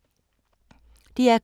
DR K